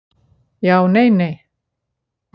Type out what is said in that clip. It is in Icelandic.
Já nei nei.